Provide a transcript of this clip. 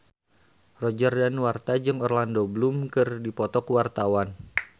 Roger Danuarta jeung Orlando Bloom keur dipoto ku wartawan